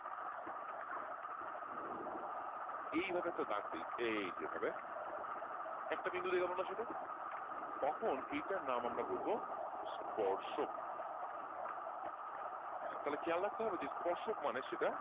এইভাবে একটা দাগ দেই এই যে এভাবে একটা বিন্দু দিয়ে গেল না সেটা? তখন এটার নাম আমরা বলব স্পর্শক তাহলে খেয়াল রাখতে হবে যে স্পর্শক মানে সেটা,